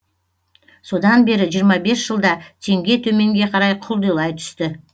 содан бері жиырма бес жылда теңге төменге қарай құлдилай түсті